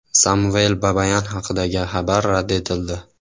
Samvel Babayan haqidagi xabar rad etildi.